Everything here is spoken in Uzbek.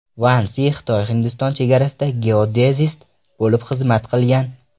Van Si XitoyHindiston chegarasida geodezist bo‘lib xizmat qilgan.